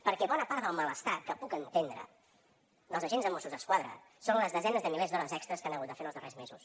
perquè bona part del malestar que puc entendre dels agents de mossos d’esquadra són les desenes de milers d’hores extres que han hagut de fer en els darrers mesos